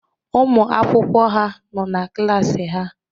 Ụmụ akwụkwọ ha nọ n'klas ha